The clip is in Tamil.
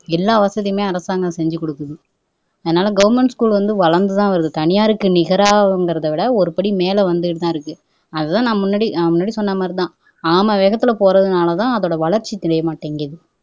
எல்லா வசதியுமே அரசாங்கம் செஞ்சு குடுக்குது அதனால கவர்ன்மெண்ட் ஸ்கூல் வந்து வளர்ந்துதான் வருது தனியாருக்கு நிகராங்கிறதைவிட ஒரு படி மேல வந்துக்கிட்டுதான் இருக்கு அதுதான் நான் முன்னாடி நான் முன்னாடி சொன்னமாதிரிதான் ஆமை வேகத்துல போரதுனாலதான் அதோட வளர்ச்சி தெரியமாட்டேங்குது